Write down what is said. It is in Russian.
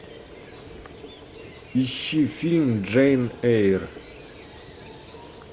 ищи фильм джейн эйр